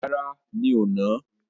Rárá, mi ò nà á.